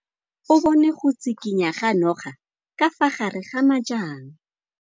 O bone go tshikinya ga noga ka fa gare ga majang.